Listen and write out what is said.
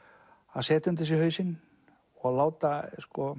að setja undir þig hausinn og láta